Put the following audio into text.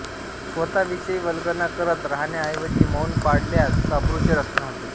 स्वतःविषयी वल्गना करत राहण्याऐवजी मौन पाळल्यास अब्रूचे रक्षण होते